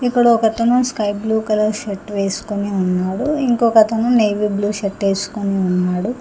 ఇక్కడ ఒకతను sky blue colour shirt వేసుకొని ఉన్నాడు ఇంకొకతను నేవీ బ్లూ షర్ట్ ఏసుకొని ఉన్నాడు.